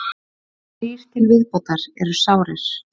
Þrír til viðbótar eru sárir